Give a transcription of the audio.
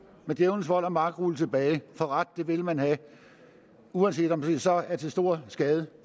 med djævelens vold og magt rulle det tilbage for ret vil man have uanset om det så er til stor skade